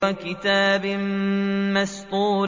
وَكِتَابٍ مَّسْطُورٍ